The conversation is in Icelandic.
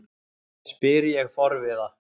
spyr ég forviða.